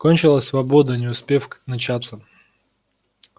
кончилась свобода не к успев начаться